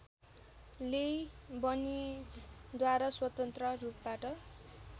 लेइबनिजद्वारा स्वतन्त्र रूपबाट